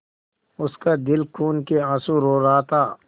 उसका दिल खून केआँसू रो रहा था